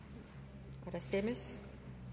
der kan stemmes